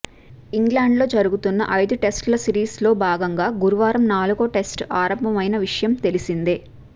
England లో జరుగుతున్న ఐదు టెస్ట్ ల సీరీస్ లో భాగంగా గురువారం నాలుగో టెస్ట్ ఆరంభమైన విషయం తెలిసిందే